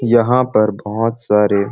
यहाँ पर बहुत सारे --